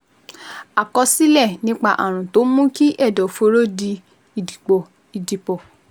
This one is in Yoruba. Àkọsílẹ̀ nípa ààrùn tó ń mú kí ẹ̀dọ̀fóró di ìdìpọ̀ ìdìpọ̀